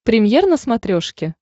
премьер на смотрешке